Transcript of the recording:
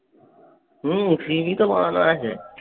হম CV তো করা আছে।